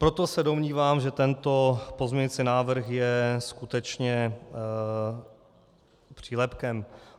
Proto se domnívám, že tento pozměňovací návrh je skutečně přílepkem.